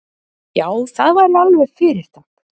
Já, það væri alveg fyrirtak.